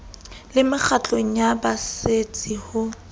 le mekgatlong ya baserbetsi ho